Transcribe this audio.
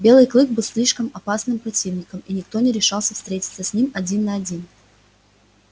белый клык был слишком опасным противником и никто не решался встретиться с ним один на один